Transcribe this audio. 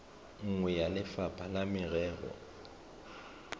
nngwe ya lefapha la merero